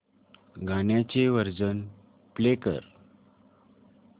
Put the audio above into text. गाण्याचे version play कर